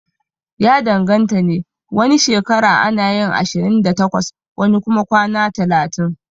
Ya danganta ne, wani shekara anayin ashirin da takwas wani kuma kwana talatin